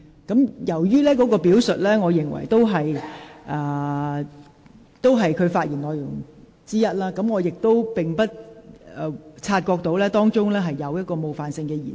我留意到該段表述屬於譚議員發言內容的一部分，我不察覺當中有冒犯性的言詞。